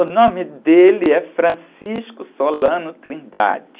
O nome dele é Francisco Solano Trindade.